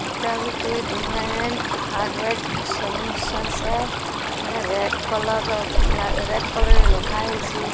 ଏଟା ଗୋଟେ । ଏଟା ରେଟ୍ କଲର୍ ର ରେଟ୍ କଲର୍ ରେ ଲେଖା ହେଇଛେ।